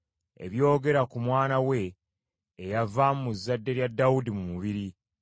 ebyogera ku Mwana we, eyava mu zadde lya Dawudi mu mubiri,